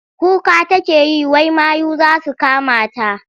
Kuka take yi wai mayu za su kamata.